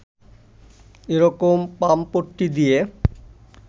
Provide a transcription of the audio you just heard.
এরকম পামপট্টি দিয়ে